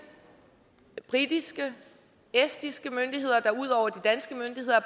vi britiske estiske myndigheder der ud over de danske